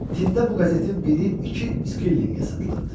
Tində bu qəzetin biri iki skillinqə satılırdı.